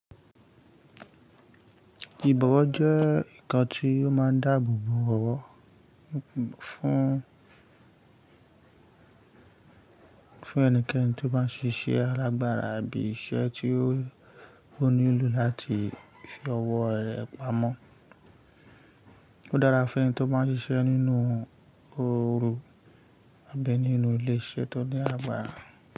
Ìbọ̀wọ̀ jẹ́ nnkan tí ó máa ń dáàbò bo ọ̀wọ̀ fún, fún ẹnikẹ́ni tó bá ń ṣiṣẹ́ alágbára àbí iṣẹ́ tí ó nílò láti fi ọwọ́ rẹ̀ pamọ́. Ó dára fún ẹni tó bá ń ṣiṣẹ́ nínú ooru àbí nínú ilé iṣẹ́ tó ní àgbára.